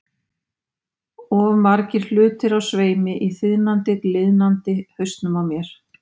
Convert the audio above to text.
Of margir hlutir á sveimi í þiðnandi, gliðnandi hausnum á mér.